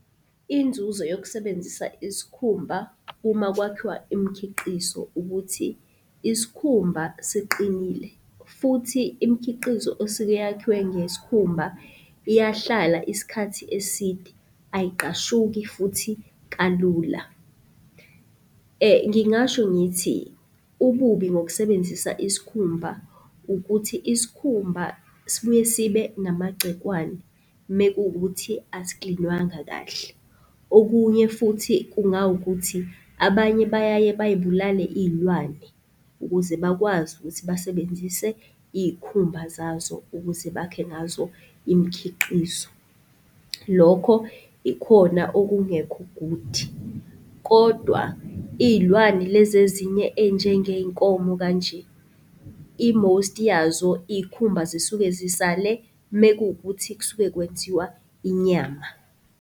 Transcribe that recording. Inzuzo yokusebenzisa isikhumba uma kwakhiwa imkhiqizo ukuthi isikhumba siqinile futhi imkhiqizo esuke yakhiwe ngesikhumba iyahlala isikhathi eside, ayiqgashuki futhi kalula. Ngingasho ngithi ububi ngokusebenzisa isikhumba ukuthi isikhumba sibuye sibe namagcikwane mekuwukuthi asiklinwanga kahle. Okunye futhi kungawukuthi abanye bayaye bay'bulale iy'lwane ukuze bakwazi ukuthi basebenzise iy'khumba zazo, ukuze bakhe ngazo imkhiqizo. Lokho ikhona okungekho-good. Kodwa iy'lwane lezi ezinye ey'njengey'nkomo kanje, i-most yazo iy'khumba zisuke zisale mekuwukuthi kusuke kwenziwa inyama.